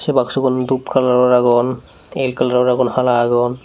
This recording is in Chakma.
se baksugun dup kalaror agon el kalaror agon hala agon.